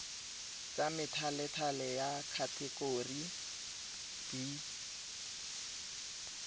tsa methalethale ya khatekori b